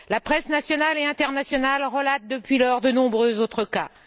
Presses nationale et internationale relatent depuis lors de nombreux autres cas.